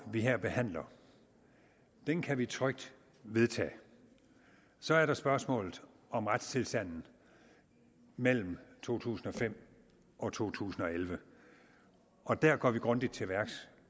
vi her behandler kan kan vi trygt vedtage så er der spørgsmålet om retstilstanden mellem to tusind og fem og to tusind og elleve og der går vi grundigt til værks